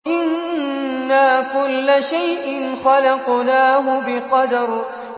إِنَّا كُلَّ شَيْءٍ خَلَقْنَاهُ بِقَدَرٍ